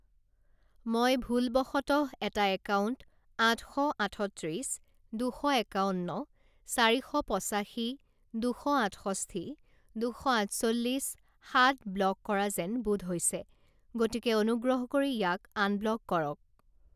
মই ভুলবশতঃ এটা একাউণ্ট আঠ শ আঠত্ৰিছ দুশ একাৱন্ন চাৰি শ পঁচাশী দুশ আঠষষ্ঠি দুশ আঠচল্লিছ সাত ব্লক কৰা যেন বোধ হৈছে, গতিকে অনুগ্ৰহ কৰি ইয়াক আনব্লক কৰক।